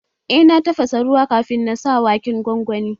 Eh na tafasa ruwa kafin na sa waken gwangwanin